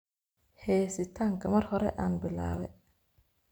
Hesitanka mar hore aan bilawe.